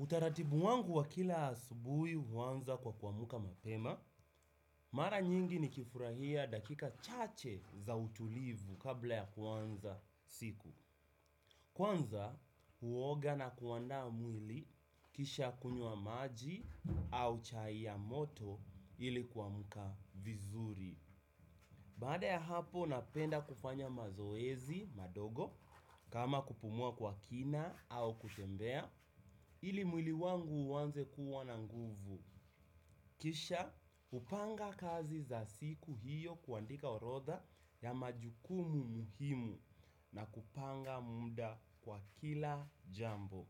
Utaratibu wangu wa kila asubui uwanza kwa kuamuka mapema, mara nyingi nikifurahia dakika chache za utulivu kabla ya kuanza siku. Kwanza, huoga na kuandaa mwili kisha kunywa maji au chai ya moto ili kuamuka vizuri. Baada ya hapo napenda kufanya mazoezi madogo kama kupumua kwa kina au kutembea ili mwili wangu uwanze kuwa na nguvu. Kisha upanga kazi za siku hiyo kuandika orodha ya majukumu muhimu na kupanga muda kwa kila jambo.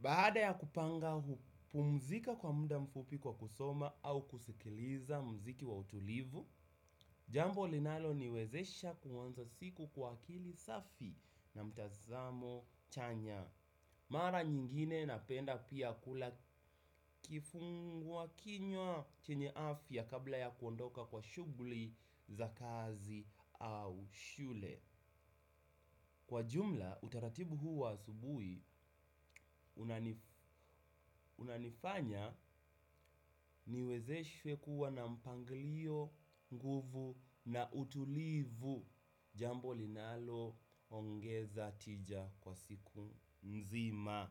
Baada ya kupanga hupumzika kwa muda mfupi kwa kusoma au kusikiliza mziki wa utulivu. Jambo linalo niwezesha kuwanza siku kwa akili safi na mtazamo chanya. Mara nyingine napenda pia kula kifungua kinywa chenye afya kabla ya kuondoka kwa shugli za kazi au shule. Kwa jumla, utaratibu hu wa asubui, unanifanya niwezeshwe kuwa na mpanglio, nguvu na utulivu. Jambo linalo ongeza tija kwa siku mzima.